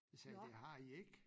Jeg sagde det har i ik